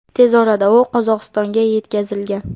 Tez orada u Qozog‘istonga yetkazilgan.